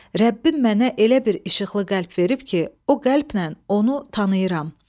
Rəbbim mənə elə bir işıqlı qəlb verib ki, o qəlplə onu tanıyıram.